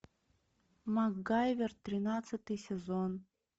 макгайвер тринадцатый сезон